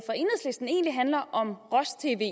handler ikke om